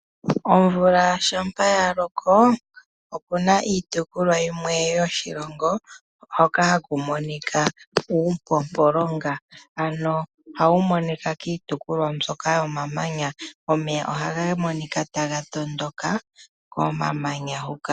Omvula shampa ya loko okuna iitukulwa yimwe yoshilongo hoka haku monika uumpompo longa ano ohawu monika kiitulwa mbyoka yomilonga omeya ohaga monikq taga tondoka komamanya huka.